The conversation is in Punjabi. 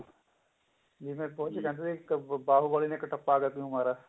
ਜਿਵੇਂ ਵਿੱਚ ਕਹਿੰਦੇ ਨੇ ਬਾਹੁਬਲੀ ਨੇ ਕਟੱਪਾ ਕੋ ਕਿਉਂ ਮਾਰਾ